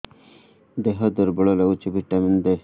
ଦିହ ଦୁର୍ବଳ ଲାଗୁଛି ଭିଟାମିନ ଦେ